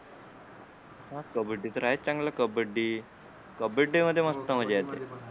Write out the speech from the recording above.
कब्बडी तर आहेच चांगली कब्बडी कब्बडी मध्ये मस्त मजा येते